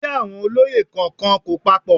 Iṣẹ́ àwọn olóyè kọ̀ọ̀kan kò papọ